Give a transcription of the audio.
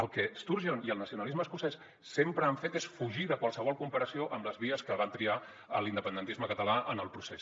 el que sturgeon i el nacionalisme escocès sempre han fet és fugir de qualsevol comparació amb les vies que va triar l’independentisme català en el procés